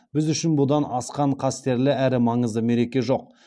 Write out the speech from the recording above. біз үшін бұдан асқан қастерлі әрі маңызды мереке жоқ